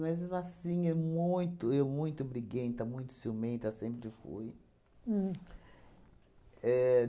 Mas, assim, é muito eu muito briguenta, muito ciumenta, sempre fui. Uhm. Éh